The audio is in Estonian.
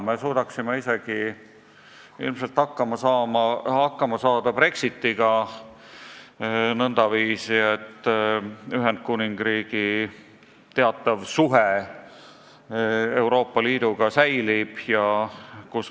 Me suudaksime ilmselt hakkama saada isegi Brexitiga nõndaviisi, et Ühendkuningriigi teatavad suhted Euroopa Liiduga säilivad.